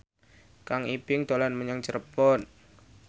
Kang Ibing dolan menyang Cirebon